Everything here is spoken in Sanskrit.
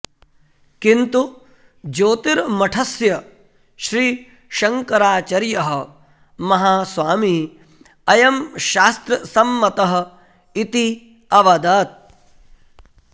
किन्तु ज्योतिर्मठस्य श्री शङ्कराचर्यः महास्वामी अयं शास्त्रसम्मतः इति अवदत्